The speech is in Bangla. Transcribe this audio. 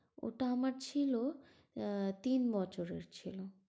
ওটা আমার ছিল আহ তিন বছরের ছিল।